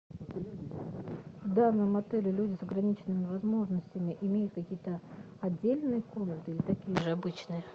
в данном отеле люди с ограниченными возможностями имеют какие то отдельные комнаты или такие же обычные